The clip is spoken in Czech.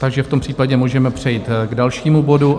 Takže v tom případě můžeme přejít k dalšímu bodu.